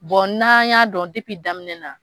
n'an y'a dɔn daminɛ na